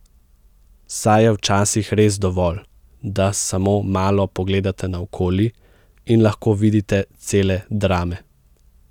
Saj je včasih res dovolj, da samo malo pogledate naokoli in lahko vidite cele drame.